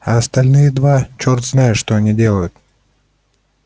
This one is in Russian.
а остальные два черт знает что они делают